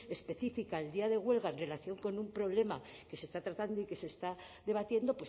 específica el día de huelga en relación con un problema que se está tratando y que se está debatiendo